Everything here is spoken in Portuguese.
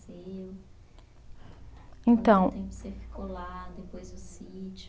Então. Quanto tempo você ficou lá, depois o sítio.